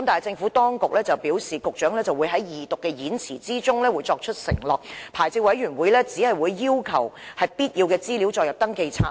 政府當局表示，局長會在《條例草案》恢復二讀辯論的演辭中承諾，發牌委員會只會要求將必要的資料載入登記冊。